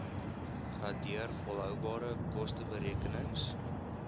gradeer volhoubare kosteberekenings